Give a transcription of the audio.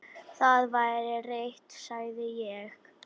Það væri rétt, sagði ég.